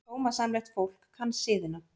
Sómasamlegt fólk kann siðina.